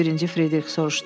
Birinci Fridrix soruşdu.